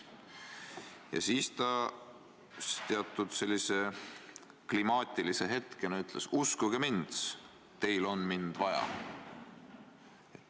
Ja siis ta ühel sellisel kuumal hetkel ütles: "Uskuge mind, teil on mind vaja!".